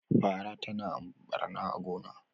fara tana barna a gona